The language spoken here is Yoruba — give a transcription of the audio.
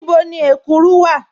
Níbò̀ ni èkúrù wà?